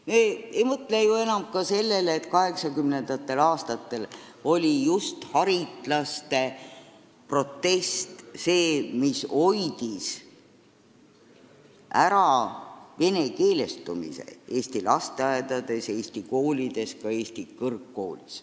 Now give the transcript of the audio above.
Me ei mõtle enam ju ka sellele, et 1980. aastatel hoidis just haritlaste protest ära venekeelestumise Eesti lasteaedades, Eesti koolides, ka Eesti kõrgkoolis.